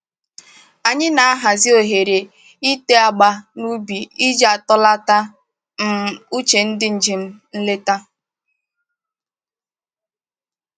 Anyị na-ahazi ohere ite agba n'ubi iji atọlata um uche ndị njem nleta